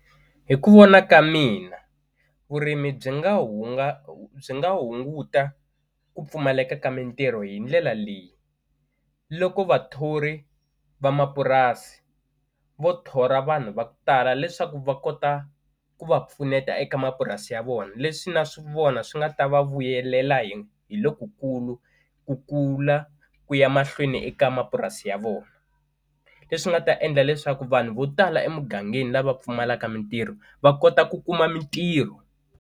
Hi ku vona ka mina vurimi byi nga byi nga hunguta ku pfumaleka ka mintirho hi ndlela leyi loko vathori va mapurasi vo thola vanhu va ku tala leswaku va kota ku va pfuneta eka mapurasi ya vona leswi na swi vona swi nga ta va vuyelela hi hi lokukulu ku kula ku ya mahlweni eka mapurasi ya vona leswi nga ta endla leswaku vanhu vo tala emugangeni lava pfumalaka mintirho va kota ku kuma mintirho.